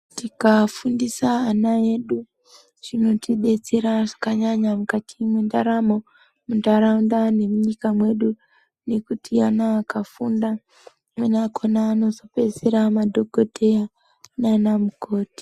Tika fundisa ana edu zvinoti betsera zvakanyanya mukati me ndaramo mu ndaraunda ngemu nyika medu nekuti ana aka funda amweni akona anozo pedzisira a madhokoteya nana mukoti.